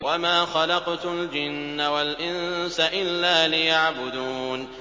وَمَا خَلَقْتُ الْجِنَّ وَالْإِنسَ إِلَّا لِيَعْبُدُونِ